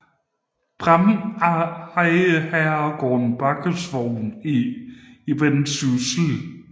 Braem ejede herregården Baggesvogn i Vendsyssel